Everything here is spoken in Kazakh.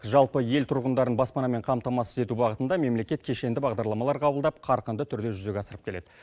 жалпы ел тұрғындарын баспанамен қамтамасыз ету бағытында мемлекет кешенді бағдарламалар қабылдап қарқынды түрде жүзеге асырып келеді